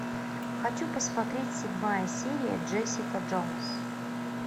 хочу посмотреть седьмая серия джессика джонс